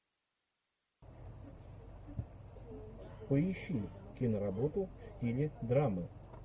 поищи киноработу в стиле драмы